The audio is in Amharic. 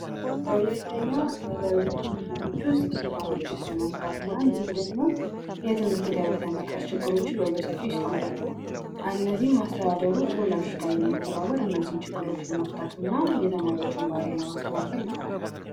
በሁለተኛ ደረጃ ትምህርት ቤቶች ውስጥ የተማሪዎች የስነምግባር እና እንዲሁም ደግሞ የትምህርት ደረጃ የመቅረፍ ችግሮች በሰፊው ይስተዋላሉ እነዚህንም አስተዳደሩ ከወላጆች ጋር በመተባበር እነዚህን ችግሮች ለመፍታት እና የተማሪዎችን ባህሪይ ለማስተካከል ይጥራል።